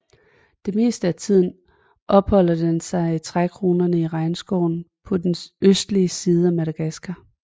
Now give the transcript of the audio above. Det meste af tiden opholder den sig i trækronerne i regnskoven på den østlige side af Madagaskar